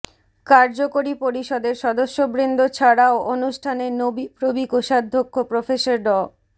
কার্যকরী পরিষদের সদস্যবৃন্দ ছাড়াও অনুষ্ঠানে নোবিপ্রবি কোষাধ্যক্ষ প্রফেসর ড